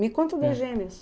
Me conta